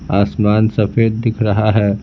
आसमान सफेद दिख रहा है।